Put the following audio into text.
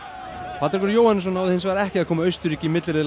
Patrekur Jóhannesson náði hins vegar ekki að koma Austurríki í milliriðla